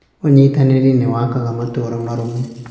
Ũnyitanĩri nĩ wakaga matũũra marũmu.